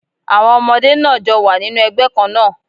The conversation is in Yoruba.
Àwọn ọmọdé náà jọ wà nínú ẹgbẹ́ kán náà